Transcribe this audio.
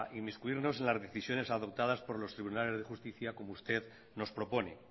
inmiscuirnos en las decisiones adoptadas por los tribunales de justicia como usted nos propone